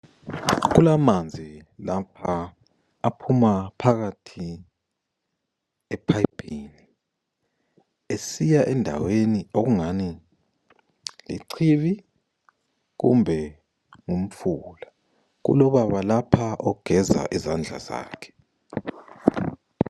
Kulamanzi lapha aphuma phakathi ephayiphini esiya endaweni okungani yichibi kumbe ngumfula kulobaba lapha ogeza izandla zakhe.